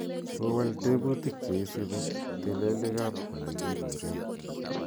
kowol tebutik cheisubi telelik ab olekiburen